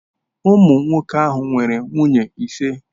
Nwoke ahụ nwere nwunye ise.